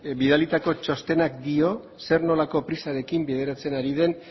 bidalitako txostenak dio zer nolako prisarekin bideratzen ari den